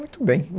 Muito bem.